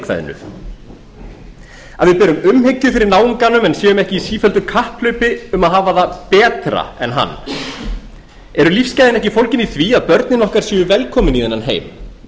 berum umhyggju fyrir náunganum en séum ekki í sífelldu kapphlaupi um að hafa það betra en hann eru lífsgæðin ekki fólgin í því að börnin okkar séu velkomin í þennan heim